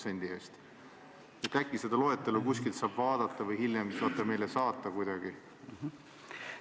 Äkki saab seda loetelu kusagilt vaadata või saate selle meile hiljem kuidagi saata.